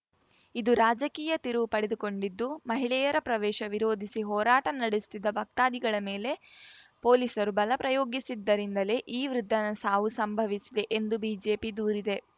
ಇದು ರಾಜಕೀಯ ತಿರುವು ಪಡೆದುಕೊಂಡಿದ್ದು ಮಹಿಳೆಯರ ಪ್ರವೇಶ ವಿರೋಧಿಸಿ ಹೋರಾಟ ನಡೆಸುತ್ತಿದ್ದ ಭಕ್ತಾದಿಗಳ ಮೇಲೆ ಪೊಲೀಸರು ಬಲ ಪ್ರಯೋಗಿಸಿದ್ದರಿಂದಲೇ ಈ ವೃದ್ಧನ ಸಾವು ಸಂಭವಿಸಿದೆ ಎಂದು ಬಿಜೆಪಿ ದೂರಿದೆ